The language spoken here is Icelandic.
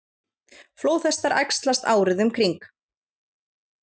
Flóðhestar æxlast árið um kring.